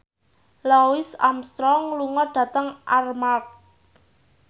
Louis Armstrong lunga dhateng Armargh